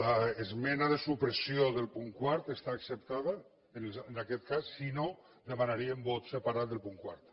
l’esmena de supressió del punt quart està acceptada en aquest cas si no demanaríem vot separat del punt quart